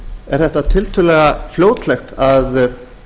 er þetta tiltölulega fljótlegt að